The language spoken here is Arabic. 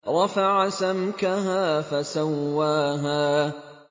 رَفَعَ سَمْكَهَا فَسَوَّاهَا